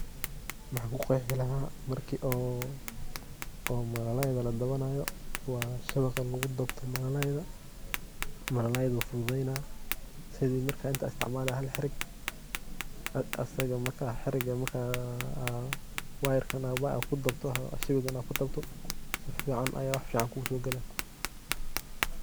Maxan kuqeexi lahaay marki oo malaalayda laa dabanayo wa shabaqii lugu dabto malalayda, malalay lafudhadheyna sidhii marka inta istacmali haal heraag asaga marka heraaga marka waa yarka ama kudaabto sheeygaaa aa kudabta safiican aa waxfican kusogalaa.